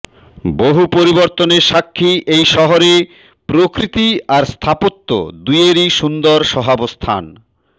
বহু পরিবর্তনের সাক্ষী এই শহরে প্রকৃতি আর স্থাপত্য দুইয়েরই সুন্দর সহাবস্থান